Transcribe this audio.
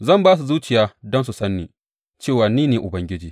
Zan ba su zuciya don su san ni, cewa ni ne Ubangiji.